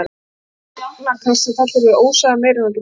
Augnakast sem felur í sér það ósagða: Meira en þú getur sagt.